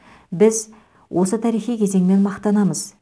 біз осы тарихи кезеңмен мақтанамыз